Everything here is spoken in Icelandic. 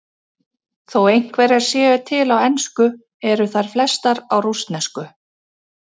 Þó einhverjar séu til á ensku eru þær flestar á rússnesku.